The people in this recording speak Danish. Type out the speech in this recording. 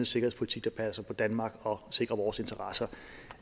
sikkerhedspolitik der passer på danmark og sikrer vores interesser